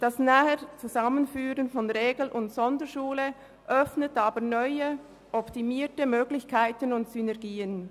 Das Näher-Zusammenführen von Regel- und Sonderschule öffnet aber neue, optimierte Möglichkeiten und Synergien.